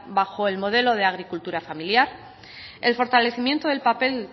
bajo el modelo de agricultura familiar el fortalecimiento del papel